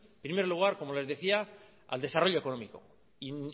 primer lugar como les decía al desarrollo económico y